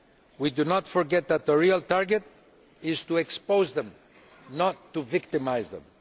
We do not forget that the real target is to expose them, not to victimise them.